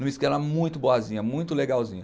muito boazinha, muito legalzinha.